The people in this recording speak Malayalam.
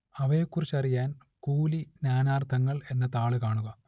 അവയെക്കുറിച്ചറിയാൻ കൂലി നാനാർത്ഥങ്ങൾ എന്ന താൾ കാണുക